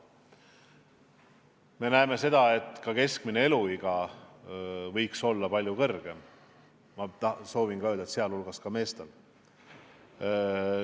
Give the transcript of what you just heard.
Veel soovin ma öelda, et ka keskmine eluiga võiks Eestis olla palju pikem, sealhulgas meestel.